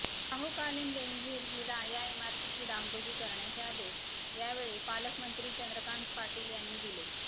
शाहूकालीन Benazir villa या इमारतीची डागडुजी करण्याचे आदेश यावेली पालकमंत्री चंद्रकांत पाटील यांनी दिले